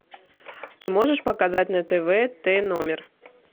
ты можешь показать на тв т номер